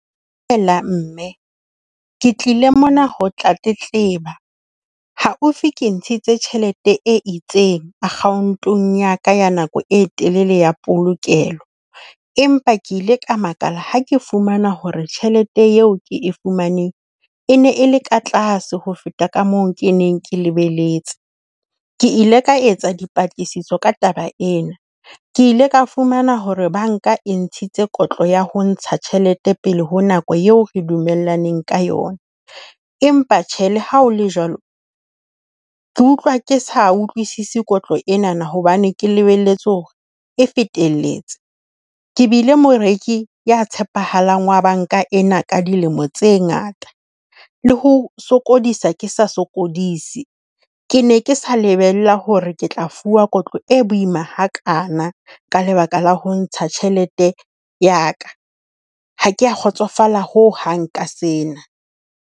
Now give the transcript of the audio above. Hela mme. Ke tlile mona ho tla tletleba. Haufi ke ntshitse tjhelete e itseng account-ong ya ka ya nako e telele ya polokelo. Empa ke ile ka makala ha ke fumana hore tjhelete eo ke e fumaneng e ne e le ka tlase ho feta ka moo ke neng ke lebeletse. Ke ile ka etsa dipatlisiso ka taba ena, ke ile ka fumana hore banka e ntshitse kotlo ya ho ntsha tjhelete pele ho nako eo re dumellaneng ka yona. Empa tjhe le ha o le jwalo ke utlwa ke sa utlwisise kotlo ena hobane ke lebelletse hore e fetelletse. Ke bile moreki ya tshepahalang wa banka ena ka dilemo tse ngata, le ho sokodisa ke sa sokodise. Ke ne ke sa lebella hore ke tla fuwa kotlo e boima hakaana ka lebaka la ho ntsha tjhelete ya ka. Ha kea kgotsofala ho hang ka sena.